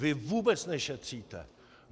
Vy vůbec nešetříte!